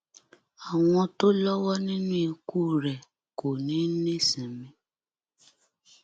àwọn tó lọwọ nínú ikú rẹ kò ní í nísinmi